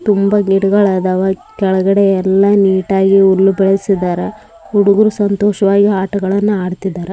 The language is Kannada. ತುಂಬ ಗಿಡಗಳು ಅದಾವ ಕೆಳಗಡೆ ಎಲ್ಲ ನೀಟಾಗಿ ಹುಲ್ಲು ಬೆಳೆಸಿದರ ಹುಡುಗುರು ಸಂತೋಷವಾಗಿ ಆಟಗಳನ್ನ ಆಡ್ತಾ ಇದ್ದಾರೆ.